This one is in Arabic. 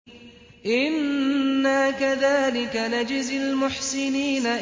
إِنَّا كَذَٰلِكَ نَجْزِي الْمُحْسِنِينَ